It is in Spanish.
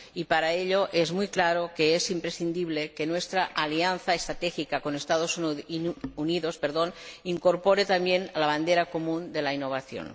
Y para ello es muy claro que es imprescindible que nuestra alianza estratégica con los Estados Unidos incorpore también la bandera común de la innovación.